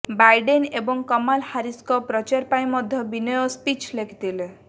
Biden ଏବଂ କମଲା ହାରିସଙ୍କ ପ୍ରଚାର ପାଇଁ ମଧ୍ୟ ବିନୟ ସ୍ପିଚ୍ ଲେଖିଥିଲେ